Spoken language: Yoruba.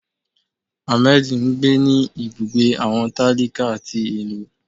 Hamedí ńgbé ní ibùgbé awọn talíká tí ilú.